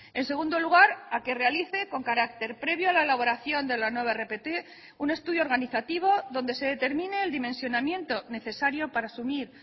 en segundo lugar a que realice con carácter previo a la elaboración de la nueva rpt un estudio organizativo donde se determine el dimensionamiento necesario para asumir